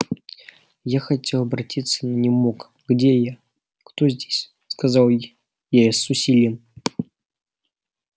я хотел оборотиться но не мог где я кто здесь сказал я с усилием